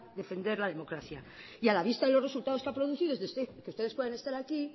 defender la democracia a la vista de los resultados que ha producido que ustedes puedan estar aquí